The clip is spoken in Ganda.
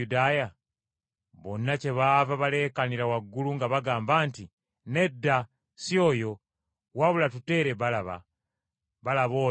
Bonna kyebaava baleekaanira waggulu nga bagamba nti, “Nedda, si oyo, wabula tuteere Balaba.” Balaba oyo yali munyazi.